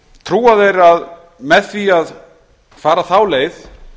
trúa þeir að með því að fara þá leið